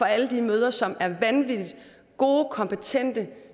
alle de mødre som er vanvittig gode kompetente